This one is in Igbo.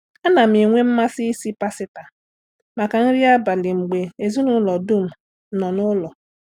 A na m enwe mmasị isi pasita maka nri abalị mgbe ezinụlọ dum nọ n'ụlọ.